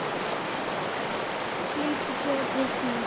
Flýtir sér að teikna.